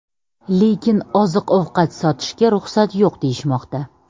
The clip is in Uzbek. Lekin oziq-ovqat sotishga ruxsat yo‘q deyishmoqda.